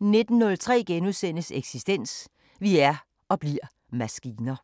19:03: Eksistens: Vi er – og bliver – maskiner